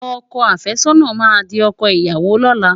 Ọkọ àfẹ́sọ́nà máa di ọkọ ìyàwó lọ́la.